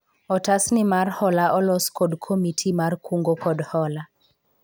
otas ni mar hola olos kod komiti mar kungo kod hola